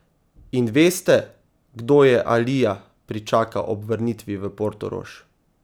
In veste, kdo je Alija pričakal ob vrnitvi v Portorož?